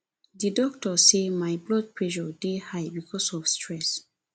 di doctor say my blood pressure dey high because of stress